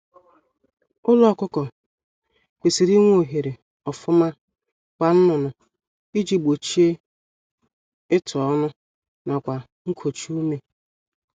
Ụlọ ọkụkọ kwesịrị inwe ohere ofuma kwa nnụnụ iji gbochie ịtụ ọnụ nakwa nkochi ume